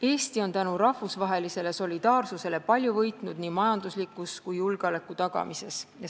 Eesti on tänu rahvusvahelisele solidaarsusele palju võitnud nii majanduslikus mõttes kui ka julgeoleku tagamises.